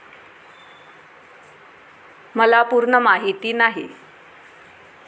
मला पूर्ण माहिती नाही.